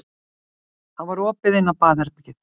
Það var opið inn á baðherbergið.